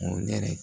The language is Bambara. O yɛrɛ